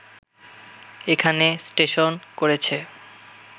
এখানে স্টেশন করেছে